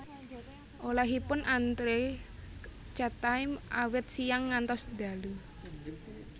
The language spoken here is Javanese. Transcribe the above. Olehipun antre Chatime awit siyang ngantos dalu